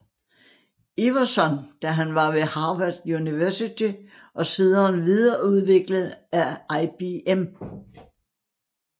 Iverson da han var ved Harvard University og siden videreudviklet af IBM